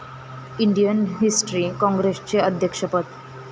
Indian history काँग्रेसचे अध्यक्षपद